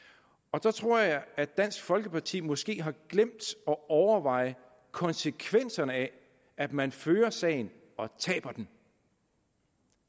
der tror jeg dansk folkeparti måske har glemt at overveje konsekvenserne af at man fører sagen og taber den